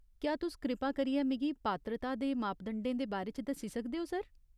क्या तुस कृपा करियै मिगी पात्रता दे मापदंडें दे बारे च दस्सी सकदे ओ, सर ?